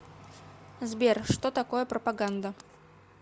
сбер что такое пропаганда